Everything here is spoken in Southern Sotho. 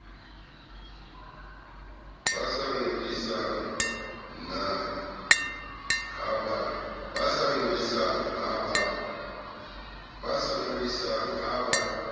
ba sa ngodisang ha ba